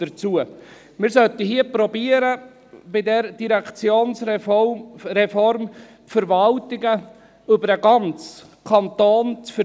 Wir sollten hier bei dieser Direktionsreform versuchen, die Verwaltung über den ganzen Kanton zu verteilen.